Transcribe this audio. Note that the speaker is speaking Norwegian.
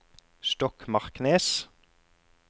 Stokmarknes